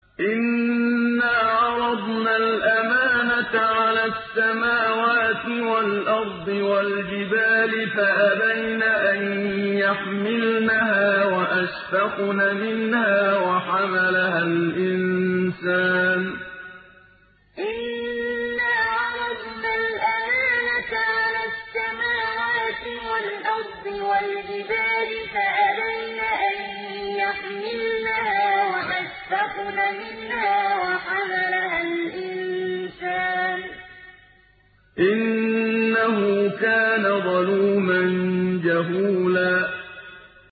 إِنَّا عَرَضْنَا الْأَمَانَةَ عَلَى السَّمَاوَاتِ وَالْأَرْضِ وَالْجِبَالِ فَأَبَيْنَ أَن يَحْمِلْنَهَا وَأَشْفَقْنَ مِنْهَا وَحَمَلَهَا الْإِنسَانُ ۖ إِنَّهُ كَانَ ظَلُومًا جَهُولًا إِنَّا عَرَضْنَا الْأَمَانَةَ عَلَى السَّمَاوَاتِ وَالْأَرْضِ وَالْجِبَالِ فَأَبَيْنَ أَن يَحْمِلْنَهَا وَأَشْفَقْنَ مِنْهَا وَحَمَلَهَا الْإِنسَانُ ۖ إِنَّهُ كَانَ ظَلُومًا جَهُولًا